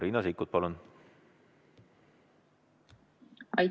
Riina Sikkut, palun!